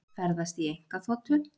Ferðast í einkaþotu